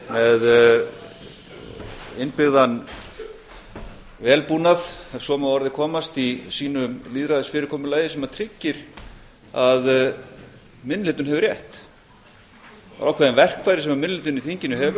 með innbyggðan vélbúnað ef svo má að orði komast í sínu lýðræðisfyrirkomulagi sem tryggir að minni hlutinn hefur rétt það eru ákveðin verkfæri sem minni hlutinn í þinginu hefur